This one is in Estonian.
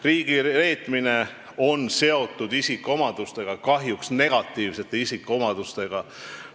Riigireetmine on seotud isikuomadustega, kahjuks negatiivsete isikuomadustega.